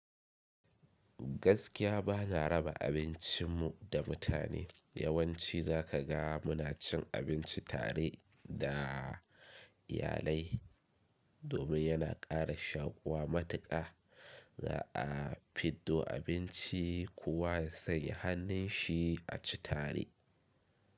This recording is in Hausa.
Gaskiya bana raba abincin mu da mutane. Yawanci za ka ga muna cin abinci tare da iyalai domin yana kara shakuwa matuka za a fiddo abinci kuwa sai a sanya hannun shi a ci tare.